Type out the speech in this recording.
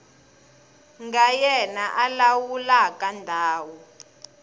nga yena a lawulaka ndhawu